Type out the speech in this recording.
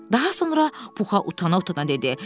Daha sonra Puxa utana-utana dedi.